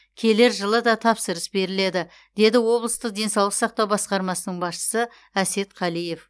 келер жылы да тапсырыс беріледі деді облыстық денсаулық сақтау басқармасының басшысы әсет қалиев